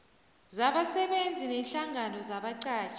zabasebenzi neenhlangano zabaqatjhi